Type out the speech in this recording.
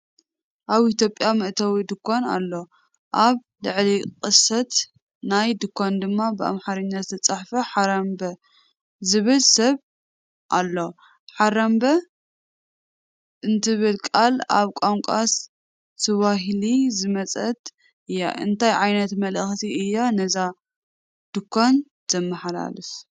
ኣብ ኢትዮጵያ መእተዊ ድኳን ኣሎ፡ ኣብ ልዕሊ ቅስት ናይቲ ድኳን ድማ ብኣምሓርኛ ዝተጻሕፈ "ሓራምበ" ዝብል ስም ኣሎ። "ሓራምበ" እትብል ቃል ካብ ቋንቋ ስዋሂሊ ዝመጸት እያ፡ እንታይ ዓይነት መልእኽቲ እያ ነዛ ድኳን ዘመሓላልፋ?